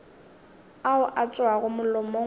ao a tšwago molomong wa